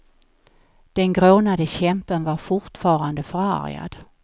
Den grånade kämpen var fortfarande förargad.